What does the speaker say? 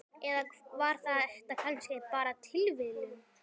Eða var þetta kannski bara tilviljun?